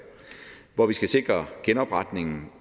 hvor vi skal sikre genopretningen